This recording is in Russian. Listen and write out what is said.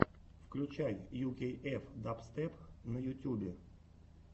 включай ю кей эф дабстеп на ютьюбе